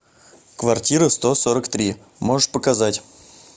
квартира сто сорок три можешь показать